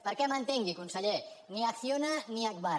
perquè m’entengui conseller ni acciona ni agbar